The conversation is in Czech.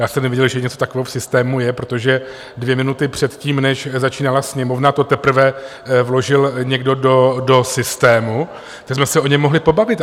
Já jsem nevěděl, že něco takového v systému je, protože dvě minuty předtím, než začínala Sněmovna, to teprve vložil někdo do systému, tak jsme se o něm mohli pobavit.